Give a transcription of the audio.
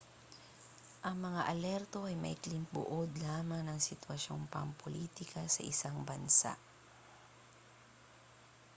ang mga alerto ay maikling buod lamang ng sitwasyong pampulitika sa isang bansa